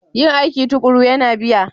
Yin aiki tuƙuru yana biya.